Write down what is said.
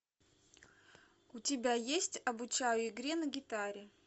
у тебя есть обучаю игре на гитаре